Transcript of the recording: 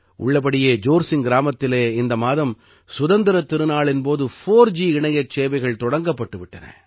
உள்ளபடியே ஜோர்சிங்க் கிராமத்திலே இந்த மாதம் சுதந்திரத் திருநாளின் போது 4ஜி இணையச் சேவைகள் தொடங்கப்பட்டு விட்டன